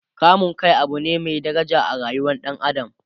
kamun Kai Abu ne Mai daraja a rayuwar ɗan adam